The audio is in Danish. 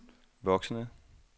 voksende